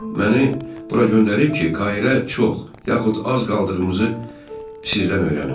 Məni bura göndərib ki, Kaira çox, yaxud az qaldığımızı sizdən öyrənim.